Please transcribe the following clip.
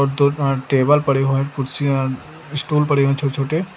और दूर अं टेबल पड़े हुए हैं कुर्सियां स्टूल पड़े हुए हैं छोटे छोटे।